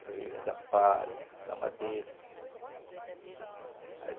Eles vivem da palha, da madeira.